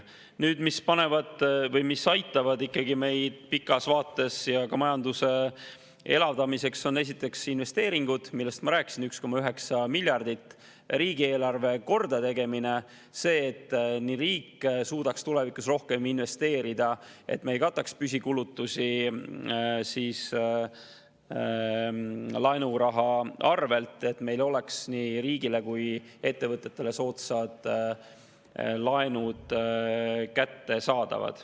Nüüd, ka pikas vaates aitavad meid majanduse elavdamisel esiteks investeeringud, millest ma rääkisin – 1,9 miljardit –, ja riigieelarve kordategemine, et riik suudaks tulevikus rohkem investeerida, et me ei kataks püsikulutusi laenuraha arvelt ja et nii riigile kui ka ettevõtetele oleks soodsad laenud kättesaadavad.